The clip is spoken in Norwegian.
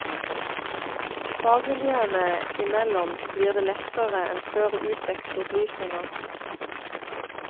Fagmiljøene imellom blir det lettere enn før å utveksle opplysninger.